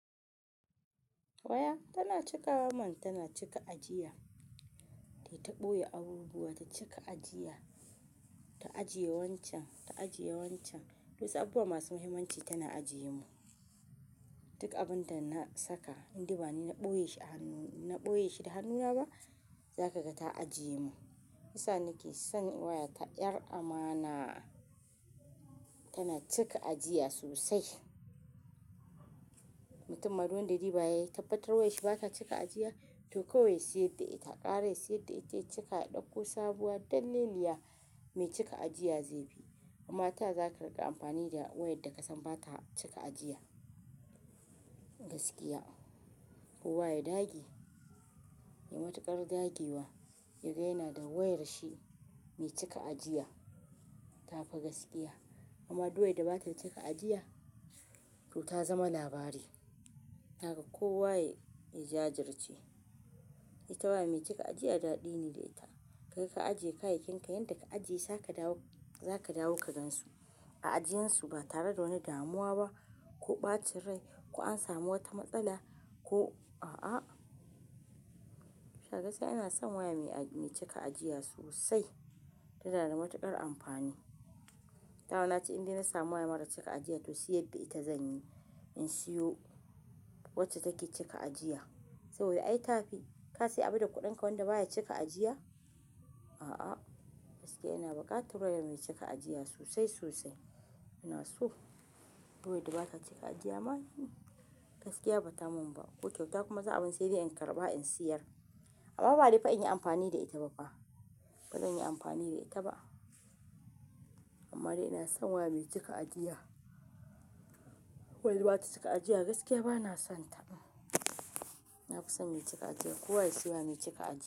Waya tana cikawa man. Tana cika ajiya. Tayita ɓoye abubuwa ta cika ajiya, ta ajiye wancan, ta ajiye wancan. Wasu abubuwa masu muhimmanci tana ajiye min. Duk abin da na saka indai bani na ɓoye shi a hanu-- na ɓoye shi da hannuna ba, za ka ga ta ajiye mun. Shiyasa nake son waya ta, 'yar amana. Tana cika ajiya sosai. Mutum ma duk wanda ya duba ya tabbatar wayar shi ba ta cika ajiya, to kawai ya siyar da ita, ƙara ya siyar da ita, ya cika ya ɗauko sabuwa, dalleliya me cika ajiya zai fi. Amma taya za ka riƙa amfani da wayar da ka san ba ta cika ajiya gaskiya. Kowa ya dage, ya matuƙar dagewa, ya ga yana da wayar shi mai cika ajiya ta fi gaskiya. Amma duk wayar da ba ta cika ajiya, to ta zama labari. Kaga kowa ya jajirce. Ita waya mai cika ajiya daɗi ne da ita. Kai ka ajiye kayayyakin ka, yanda ka ajiye za ka dawo, za ka dawo ka gansu. A ajiyansu ba tare da wani damuwa ba, ko ɓacin rai, ko an sami wata matsala, ko a a. Kai gaskiya ina son waya mai aji-- mai cika ajiya sosai. Tana da matuƙar amfani. Dama na ce indai na samu waya marar cika ajiya to siyar da ita zan yi. In siyo wacce take cika ajiya. Saboda ai ta fi. Ka sayi abu da kuɗinka wanda ba ya cika ajiya? A a. Gaskiya ina buƙatar waya mai cika ajiya sosai sosai. Ina so. Duk wayar da ba ta cika ajiya ma, gaskiya ba ta mun ba. Ko kyauta kuma za a bani sai dai in karɓa in siyar. Amma ba dai fa in yi amfani da ita ba fa. Ba zan yi amfani da ita ba. Amma dai ina son waya mai cika ajiya. Wayar da ba ta cika ajiya gaskiya ba na son ta. Na fi son mai cika ajiya. Kowa ya siyo waya mai cika ajiya.